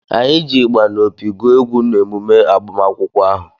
Anyị ji ịgbà na opi gụ egwu n’emume agbamakwụkwọ ahụ